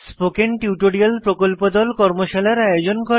spoken tutorial প্রকল্প দল কর্মশালার আয়োজন করে